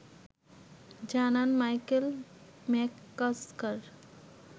জানান Michael McCusker